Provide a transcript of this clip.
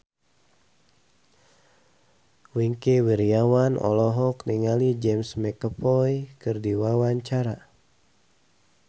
Wingky Wiryawan olohok ningali James McAvoy keur diwawancara